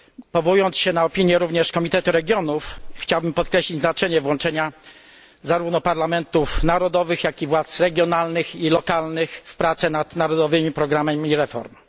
Powołując się na opinię również Komitetu Regionów chciałbym podkreślić znaczenie włączenia zarówno parlamentów narodowych, jak i władz regionalnych i lokalnych w prace nad narodowymi programami reform.